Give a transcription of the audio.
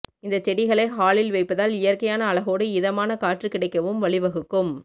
இந்த செடிகளை ஹாலில் வைப்பதால் இயற்கையான அழகோடு இதமான காற்று கிடைக்கவும் வழிவகுக்குக்கும்